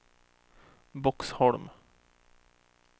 Boxholm